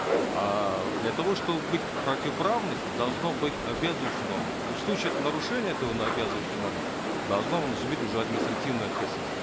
а для того чтобы быть противоправность должно быть обязывающая норма и в случае это нарушения этого обязывающей нормы должна наступить уже административная ответственность